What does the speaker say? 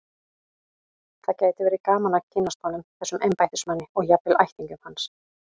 Það gæti verið gaman að kynnast honum, þessum embættismanni, og jafnvel ættingjum hans.